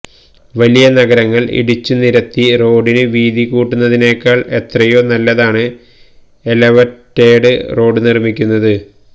വലിയ നഗരങ്ങള് ഇടിച്ചുനിരത്തി റോഡിന് വീതികൂട്ടുന്നതിനേക്കാള് എത്രയോ നല്ലതാണ് എലവേറ്റഡ് റോഡ് നിര്മ്മിക്കുന്നത്